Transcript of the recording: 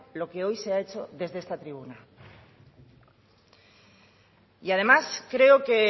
lo que hoy se ha hecho desde esta tribuna y además creo que